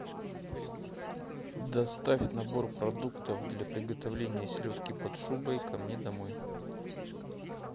доставь набор продуктов для приготовления селедки под шубой ко мне домой